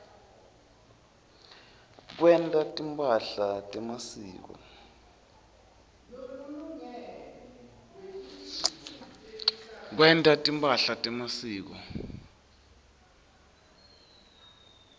kwenta timphahla temasiko